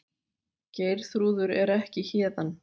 Geirþrúður er ekki héðan.